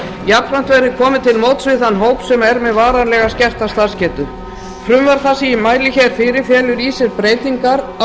jafnframt verði komið til móts við þann hóp sem er með varanlega skerta starfsgetu frumvarp það sem ég mæli hér fyrir felur í sér breytingar á